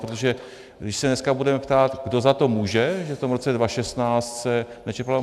Protože když se dneska budeme ptát, kdo za to může, že v tom roce 2016 se nečerpalo...